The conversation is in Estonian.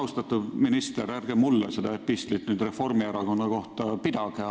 Austatud minister, ärge mulle nüüd pidage seda epistlit Reformierakonna kohta!